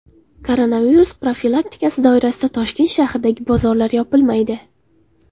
Koronavirus profilaktikasi doirasida Toshkent shahridagi bozorlar yopilmaydi.